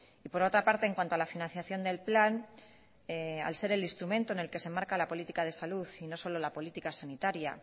y por otra parte en cuanto a la financiación del plan al ser el instrumento en el que se marca la política de salud y no solo la política sanitaria